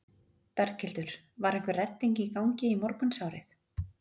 Berghildur: Var einhver redding í gangi í morgunsárið?